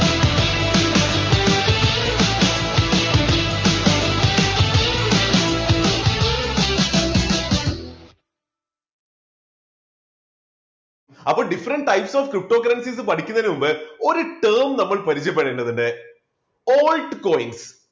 അപ്പോ different types of cryptocurrencies പഠിക്കുന്നതിനു മുമ്പ് ഒരു term നമ്മൾ പരിചയപ്പെടേണ്ടതുണ്ട് altcoin.